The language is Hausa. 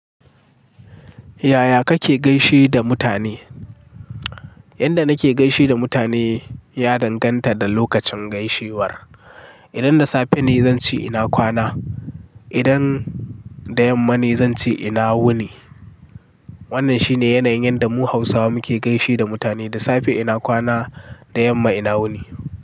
Yaya kake gaishe da mutane? Yanda nake gaishe da mutane ya danganta da lokacin gaishewar. Idan da safe ne zan ce ina kwana, idan da yamma ne zan ce ina wuni. Wannan shine yanayin yanda mu Hausawa muke gaishe da mutane. Da safe ina kwana, da yamma ina wuni.